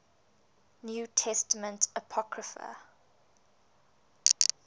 new testament apocrypha